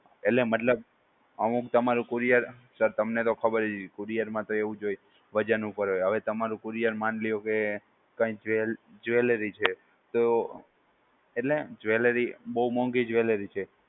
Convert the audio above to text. એટલે મતલબ અમુક તમારે courier sir, તમને તો ખબર જ હશે courier માં તો એવું જ હોય વજન ઉપર હોય હવે તમારું courier માની લ્યો કે કઈ jewe am jewelry છે તો એટલે jewelry બોવ મોંઘી jewelry છે